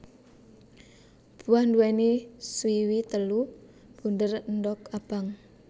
Buah nduwèni swiwi telu bunder endog abang